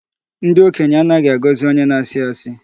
Ndị okenye anaghị agọzị onye na-asị asị